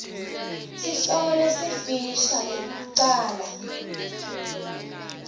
sihloko lesifisha nekucala